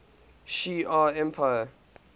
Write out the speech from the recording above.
shi ar empire